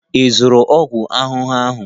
Ị zụrụ ọgwụ ahụhụ ahụ?